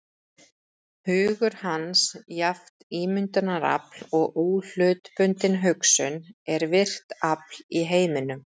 Hugur hans, jafnt ímyndunarafl og óhlutbundin hugsun, er virkt afl í heiminum.